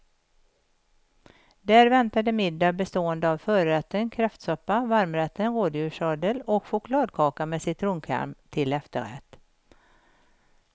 Där väntade middag bestående av förrätten kräftsoppa, varmrätten rådjurssadel och chokladkaka med citronkräm till efterrätt.